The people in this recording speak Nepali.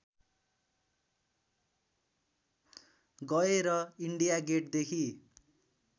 गए र इन्डिया गेटदेखि